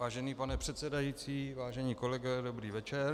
Vážený pane předsedající, vážení kolegové, dobrý večer.